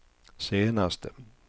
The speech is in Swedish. senaste